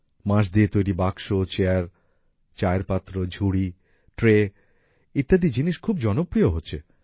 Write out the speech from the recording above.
বাঁশ দিয়ে তৈরি বাক্স চেয়ার চায়ের পাত্র ঝুড়ি ট্রে ইত্যাদি জিনিস খুব জনপ্রিয় হচ্ছে